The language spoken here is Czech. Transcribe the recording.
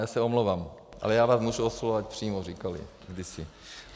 Já se omlouvám, ale já vás můžu oslovovat přímo, říkali kdysi.